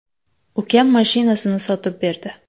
Ukam mashinasini sotib berdi.